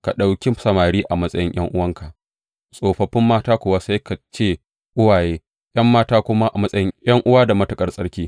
Ka ɗauki samari a matsayin ’yan’uwanka, tsofaffin mata kuwa sai ka ce uwaye, ’yan mata kuma a matsayin ’yan’uwa da matuƙar tsarki.